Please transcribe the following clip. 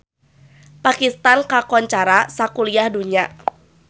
Pakistan kakoncara sakuliah dunya